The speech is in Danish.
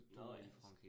Nåh ja